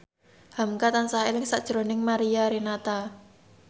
hamka tansah eling sakjroning Mariana Renata